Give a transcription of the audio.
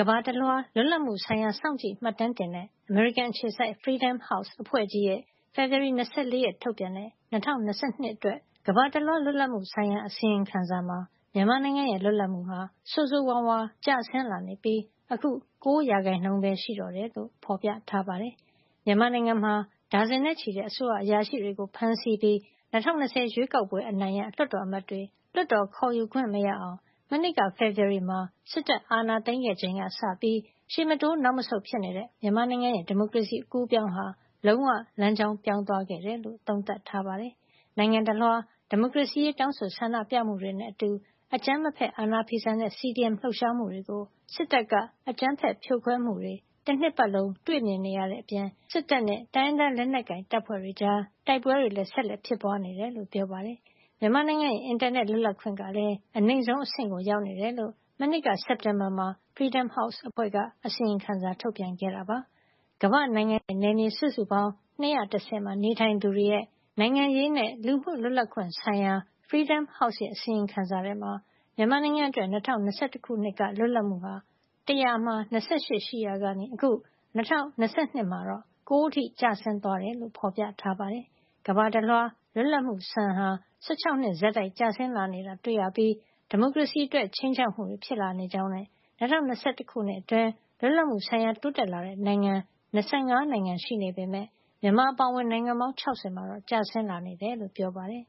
မ္ဘာတလွှား လွတ်လပ်မှုဆိုင်ရာ စောင့်ကြည့် မှတ်တမ်းတင်တဲ့ အမေရိကန်အခြေစိုက် Freedom House အဖွဲ့ကြီးရဲ့ ဖေဖေါ်ဝါရီ ၂၄ ရက် ထုတ်ပြန်တဲ့ ၂၀၂၂ ခုနှစ်အတွက် ကမ္ဘာတလွှား လွတ်လပ်မှုဆိုင်ရာ အစီရင်ခံစာမှ မြန်မာနိုင်ငံရဲ့ လွတ်လပ်မှုဟာ ဆိုးဆိုးဝါးဝါး ကျဆင်းလာနေပြီး အခု ၉ ရာခိုင်နှုန်းပဲ ရှိတော့တယ်လို့ ဖေါ်ပြထားပါတယ်။ မြန်မာနိုင်ငံမှာ ဒါဇင်နဲ့ချီတဲ့ အစိုးရအရာရှိတွေကို ဖမ်းဆီးပြီး ၂၀၂၀ ရွေးကောက်ပွဲအနိုင်ရ လွှတ်တော်အမတ်တွေ လွှတ်တော်ခေါ်ယူခွင့် မရအောင် မနှစ်က ဖေဖေါ်ဝါရီမှာ စစ်တပ်အာဏာသိမ်းခဲ့ ချိန်ကစပြီး ရှေ့မတိုးနောက်မဆုတ်ဖြစ်နေတဲ့ မြန်မာနိုင်ငံရဲ့ ဒီမိုကရေစီ အကူးအပြောင်းဟာ လုံးဝ လမ်းကြောင်းပြောင်းသွားခဲ့တယ်လို့ သုံးသပ်ထားပါတယ်။ နိုင်ငံတလွှား ဒီမိုကရေစီရေး တောင်းဆို ဆန္ဒပြမှုတွေနဲ့အတူ အကြမ်းမဖက် အာဏာဖီဆန်တဲ့ CDM လှုပ်ရှားမှုတွေကို စစ်တပ်က အကြမ်းဖက်ဖြိုခွဲမှုတွေ တနှစ်ပတ်လုံး တွေ့နေရတဲ့အပြင် စစ်တပ်နဲ့ တိုင်းရင်းသား လက်နက်ကိုင်တပ်ဖွဲ့တွေကြား တိုက်ပွဲတွေလည်း ဆက်လက်ဖြစ်ပွါးနေတယ်လို့ပြောပါတယ်။ မြန်မာနိုင်ငံရဲ့ အင်တာနက် လွတ်လပ်ခွင့်ကလည်း အနိမ့်ဆုံးအဆင့်ကို ရောက်နေတယ်လို့ မနှစ်က စက်တင်ဘာမှာ Freedom House အဖွဲ့က အစီရင်ခံစာ ထုတ်ပြန်ခဲ့တာပါ။ ကမ္ဘာ့နိုင်ငံနဲ့ နယ်မြေစုစုပေါင်း ၂၁၀ မှာ နေထိုင်သူတွေရဲ့ နိုင်ငံရေးနဲ့ လူမှုလွတ်လပ်ခွင့်ဆိုင်ရာ Freedom House ရဲ့ အစီရင်ခံစာထဲမှာ မြန်မာနိုင်ငံအတွက် ၂၀၂၁ ခုနှစ်က လွတ်လပ်မှုဟာ ၁၀၀ မှာ ၂၈ ရှိခဲ့ရာကနေ အခု ၂၀၂၂ မှာတော့ ၉ အထိ ကျဆင်းသွားတယ်လို့ ဖေါ်ပြထားပါတယ်။ ကမ္ဘာတလွှား လွပ်လပ်မှုစံဟာ ၁၆ နှစ် ဆက်တိုက် ကျဆင်း လာနေတာတွေ့ရပြီး ဒီမိုကရေစီအတွက် ခြိမ်းခြောက်မှုတွေ ဖြစ်လာနေကြောင်းနဲ့ ၂၀၂၁ အတွင်း လွတ်လပ်မှုဆိုင်ရာ တိုးတက်လာတဲ့ နိုင်ငံ ၂၅ နိုင်ငံရှိနေပေမယ့် မြန်မာအပါအဝင် နိုင်ငံပေါင်း ၆၀ မှာ ကျဆင်း လာတယ်လို့ ပြောပါတယ်